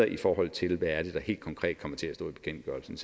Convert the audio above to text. i forhold til hvad det helt konkret kommer til at stå i bekendtgørelsen